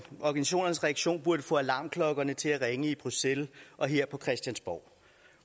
organisationernes reaktion burde få alarmklokkerne til at ringe i bruxelles og her på christiansborg